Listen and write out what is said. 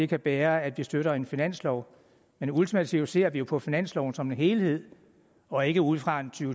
kan bære at vi støtter en finanslov men ultimativt ser vi jo på finansloven som en helhed og ikke ud fra en to